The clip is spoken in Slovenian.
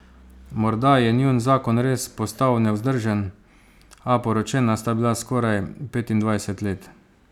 Morda je njun zakon res postal nevzdržen, a poročena sta bila skoraj petindvajset let.